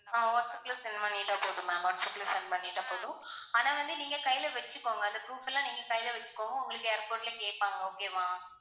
ஆஹ் வாட்ஸ்ஆப்ல send பண்ணிட்டா போதும் ma'am வாட்ஸ்ஆப்ல send பண்ணிட்டா போதும். ஆனா வந்து நீங்க கையில வச்சுக்கோங்க அந்த proof எல்லாம் நீங்க கையில வச்சுகோங்க உங்களுக்கு airport ல கேப்பாங்க okay வா?